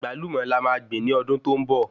Àgbálùmọ́ là máa gbìn ní ọdún tó ń bọ